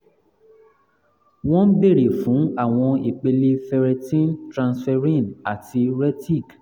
wọ́n ń bèèrè fún àwọn ipele ferretin transferrin fe àti retic